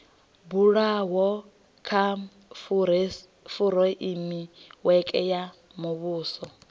bulwaho kha fureimiweke ya muvhuso